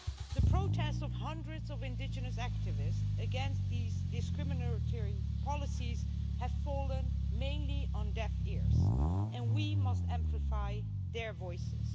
The protests of hundreds of indigenous activists against these discriminatory policies have fallen mainly on deaf ears, and we must amplify their voices.